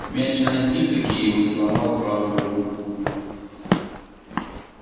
мяч настиг-таки его и сломал правую руку